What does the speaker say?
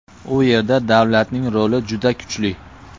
U yerda davlatning roli juda kuchli.